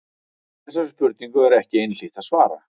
Þessari spurningu er ekki einhlítt að svara.